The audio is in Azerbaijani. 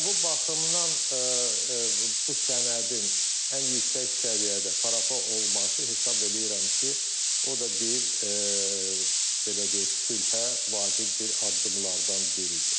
Və bu baxımdan bu sənədin ən yüksək səviyyədə parafa olması hesab eləyirəm ki, o da bir belə deyək, sülhə vacib bir addımlardan biridir.